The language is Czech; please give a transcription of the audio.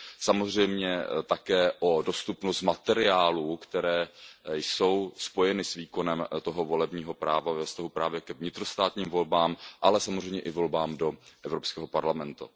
Samozřejmě také o dostupnost materiálů, které jsou spojeny s výkonem toho volebního práva ve vztahu právě k vnitrostátním volbám, ale samozřejmě i volbám do Evropského parlamentu.